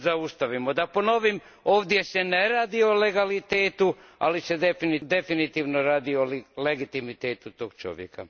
Da ponovim, ovdje se ne radi o legalitetu, ali se definitivno radi o legitimitetu tog čovjeka.